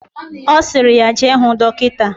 Osiri ya jee huu dokita.